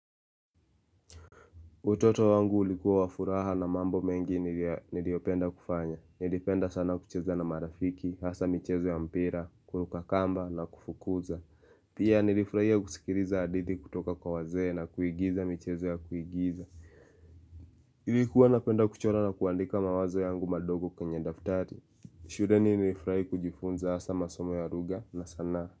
Utoto wangu ulikuwa wa furaha na mambo mengi niliyopenda kufanya. Nilipenda sana kucheza na marafiki, hasa michezo ya mpira, kuruka kamba na kufukuza. Pia nilifurahia kusikiliza hadithi kutoka kwa wazee na kuigiza michezo ya kuigiza. Nilikuwa napenda kuchora na kuandika mawazo yangu madogo kwenye daftari. Shuleni nilifurahi kujifunza hasa masomo ya lugha na sanaa.